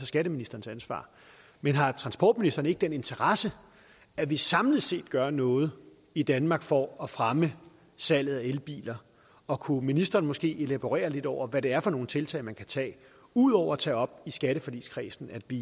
skatteministerens ansvar men har transportministeren ikke en interesse i at vi samlet set gør noget i danmark for at fremme salget af elbiler og kunne ministeren måske elaborere lidt over hvad det er for nogle tiltag man kan tage ud over at tage op i skatteforligskredsen at vi